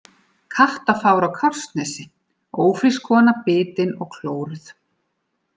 Kattafár á Kársnesi: Ófrísk kona bitin og klóruð.